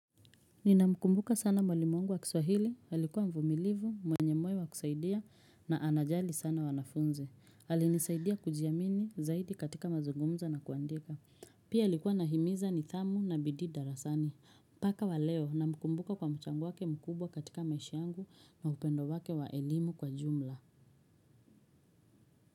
Nina mkumbuka sana mwalimu wangu wa kiswahili, alikuwa mvumilivu, mwenye mwe wa kusaidia na anajali sana wanafunzi. Alinisaidia kujiamini zaidi katika mazugumzo na kuandika. Pia alikuwa nahimiza nidhamu na bidhii darasani. Mpaka waleo na mkumbuka kwa mchango wake mkubwa katika maisha ya angu na upendo wake waelimu kwa jumla.